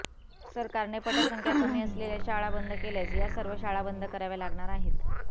सरकारने पटसंख्या कमी असलेल्या शाळा बंद केल्यास या सर्व शाळा बंद कराव्या लागणार आहेत